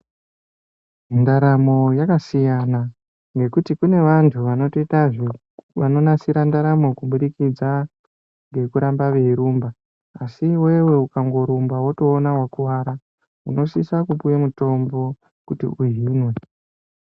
Ndaramo yakasiyana ngekuti kune vantu vanoita zvekunasira ndaramo kuburikidza ngekurumba asi iwewe ukarumba wotoona wakuwara unosisa kupuwa mutombo kuti uhinwe.